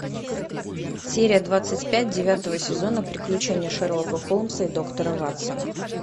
серия двадцать пять девятого сезона приключения шерлока холмса и доктора ватсона